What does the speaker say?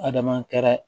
Adama kɛra